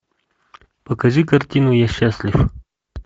покажи картину я счастлив